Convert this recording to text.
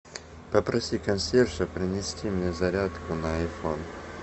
попроси консьержа принести мне зарядку на айфон